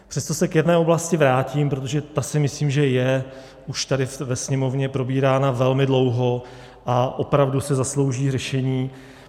Přesto se k jedné oblasti vrátím, protože ta si myslím, že je už tady ve Sněmovně probírána velmi dlouho a opravdu si zaslouží řešení.